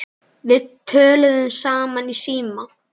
Við töluðum saman í síma.